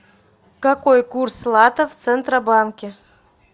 какой курс лата в центробанке